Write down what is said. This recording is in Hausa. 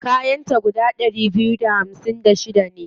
Kayan ta guda ɗari biyu da hamsin da shida ne.